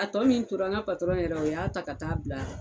A tɔ min tora n ka patɔrɔn yɛrɛ o y'a ta ka t'a bila.